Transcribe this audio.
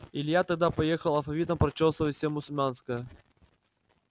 илья тогда поехал алфавитом прочёсывать все мусульманское